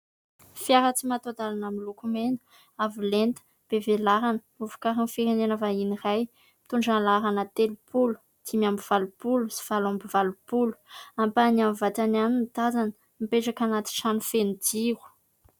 Fiara tsy mataho-dalana miloko mena, avo lenta, be velarana, novokarin'ny firenena vahiny iray, mitondra ny laharana : telopolo, dimy amby valopolo sy valo amby valopolo. Ampahany amin'ny vatany ihany no tazana; mipetraka anaty trano feno jiro.